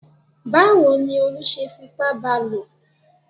Báwo ni Olú ṣe fipá ba lò?